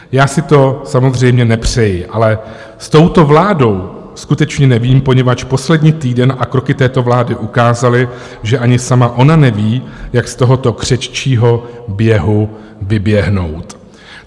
Já si to samozřejmě nepřeji, ale s touto vládou skutečně nevím, poněvadž poslední týden a kroky této vlády ukázaly, že ani sama ona neví, jak z tohoto křeččího běhu vyběhnout.